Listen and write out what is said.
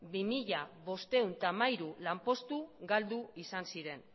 bi mila bostehun eta hamairu lanpostu galdu izan ziren